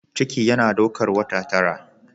Ciki yana daukar wata tara.